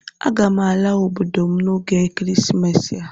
Aga m ala obodo m n'oge ekeresimesi a